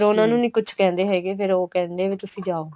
ਫੇਰ ਉਨ੍ਹਾਂ ਨੂੰ ਨੀਂ ਕੁੱਝ ਕਹਿੰਦੇ ਹੈਗੇ ਫੇਰ ਉਹ ਕਹਿੰਦੇ ਏ ਵੀ ਤੁਸੀਂ ਜਾਉ